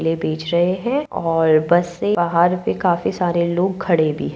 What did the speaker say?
ये बेंच रहे हैं और बस से बाहर काफी सारे लोग खड़े भी --